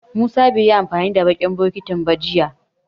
Musa bai yi amfani da baƙin bokitin ba jiya.